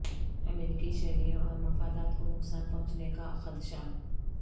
امریکی شہریوں اور مفادات کو نقصان پہنچنے کا خدشہ